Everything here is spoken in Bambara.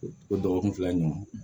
O dɔgɔkun fila ɲɔgɔn